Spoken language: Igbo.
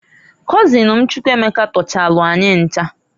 Kọzịn m Chukwuemeka tọchalụ anyị ncha.